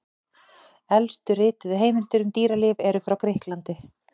Elstu rituðu heimildir um dýralíf eru frá Grikklandi.